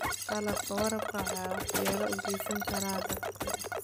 Qalabka waraabka waxaa waxyeello u geysan kara daadku.